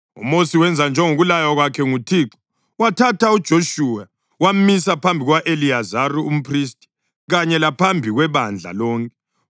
UMosi wenza njengokulaywa kwakhe nguThixo. Wathatha uJoshuwa wamisa phambi kuka-Eliyazari umphristi kanye laphambi kwebandla lonke.